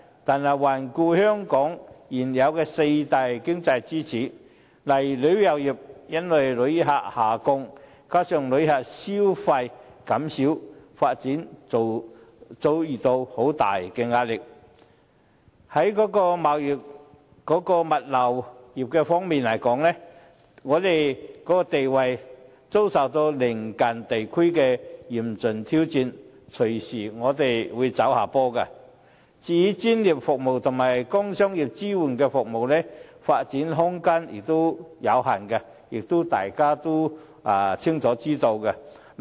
然而，環顧香港現有的四大經濟支柱，旅遊業因為旅客下降，加上旅客消費減少，發展遭遇很大壓力；在貿易物流業方面，我們的地位遭受鄰近地區的嚴峻挑戰，隨時會走下坡；至於專業服務及工商業支援服務發展空間有限，也是眾所周知。